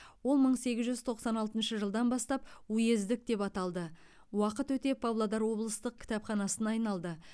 ол мың сегіз жүз тоқсан алтыншы жылдан бастап уездік деп аталды уақыт өте павлодар облыстық кітапханасына айналды